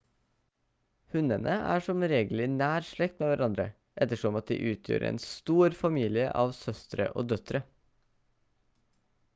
hunnene er som regel i nær slekt med hverandre ettersom at de utgjør en stor familie av søstre og døtre